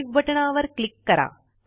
save बटणावर click करा